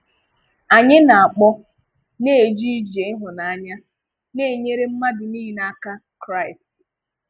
Anyị na-akpọ na-ejè ije ịhụ́nanya na-enyèrè mmadụ nile aka Christ.